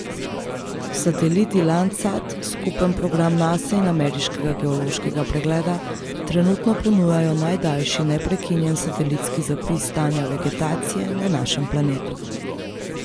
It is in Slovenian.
Sateliti Landsat, skupen program Nase in ameriškega geološkega pregleda, trenutno ponujajo najdaljši neprekinjen satelitski zapis stanja vegetacije na našem planetu.